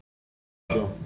Þau sitja í stofunni.